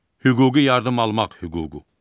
Hüquqi yardım almaq hüququ.